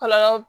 Kɔlɔlɔ